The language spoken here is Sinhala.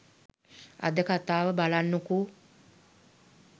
අද කතාව බලන්නකෝ.